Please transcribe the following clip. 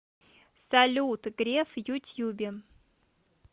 салют греф в ютьюбе